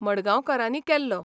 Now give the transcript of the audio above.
मडगांवकारांनी केल्लो.